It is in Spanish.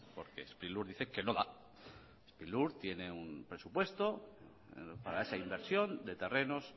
porque sprilur dice que no sprilur tiene un presupuesto para esa inversión de terrenos